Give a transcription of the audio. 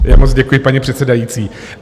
Moc děkuji, paní předsedající.